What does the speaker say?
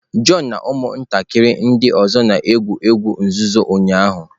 John na ụmụntakịrị ndị ọzọ na-egwu egwu nzuzo ụnyahụ.